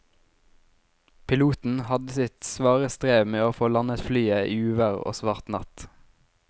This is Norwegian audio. Piloten hadde sitt svare strev med å få landet flyet i uvær og svart natt.